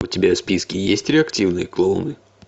у тебя в списке есть реактивные клоуны